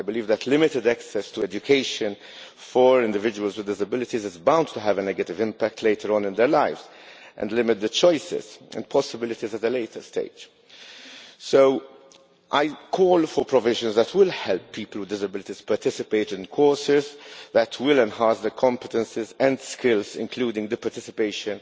I believe that limited access to education for individuals with disabilities is bound to have a negative impact later on in their lives and limit the choices and possibilities at a later stage. So I call for provisions that will help people with disabilities participate in courses which will enhance their competences and skills, including participation